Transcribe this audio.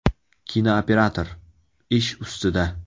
Kinooperator – ish ustida.